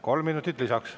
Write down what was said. Kolm minutit lisaks.